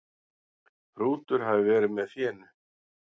Hrútur hafi verið með fénu.